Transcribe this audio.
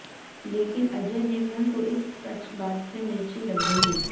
लेकिन अजय देवगन को इस सच बात से मिर्ची लग गई